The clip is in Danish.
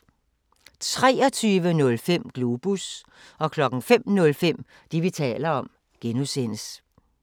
23:05: Globus 05:05: Det, vi taler om (G)